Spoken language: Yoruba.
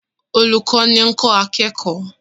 Olùkọ́ni ń kọ́ akẹ́kọ̀ọ́